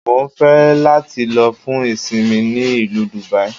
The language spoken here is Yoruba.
Mo ń fẹ́ láti lọ fún ìsinmi ní ìlú Dùbàí